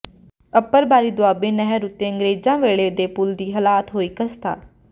ਅੱਪਰਬਾਰੀ ਦੋਆਬ ਨਹਿਰ ਉੱਤੇ ਅੰਗਰੇਜ਼ਾਂ ਵੇਲੇ ਦੇ ਪੁਲ ਦੀ ਹਾਲਤ ਹੋਈ ਖਸਤਾ